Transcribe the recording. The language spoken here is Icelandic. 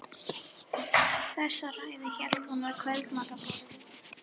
Þessa ræðu hélt hún við kvöldmatarborðið